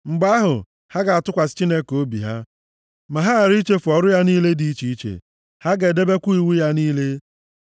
Mgbe ahụ, ha ga-atụkwasị Chineke obi ha, ma ghara ichefu ọrụ ya niile dị iche iche. Ha ga-edebekwa iwu ya niile.